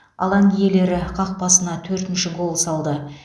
алаң иелері қақпасына төртінші гол салды